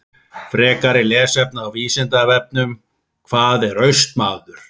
Frekara lesefni á Vísindavefnum: Hvað er Austmaður?